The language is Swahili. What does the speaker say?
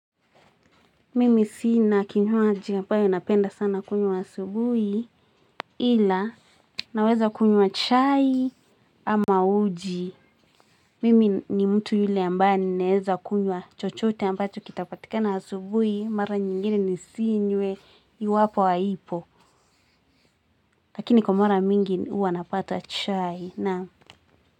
Mimi siina kinywaji ambayo napenda sana kunywa asubui. Ila naweza kunywa chai ama uji. Mimi ni mtu yule ambei naweza kunyua chochote ambacho kitapatika na asubui. Mara nyingiri nisiinywe yu wapo waipo. Lakini kwa mara mingi uwa napata chai na.